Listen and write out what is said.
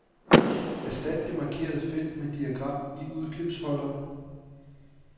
Erstat det markerede felt med diagram i udklipsholderen.